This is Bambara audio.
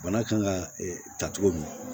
Bana kan ka ta cogo min na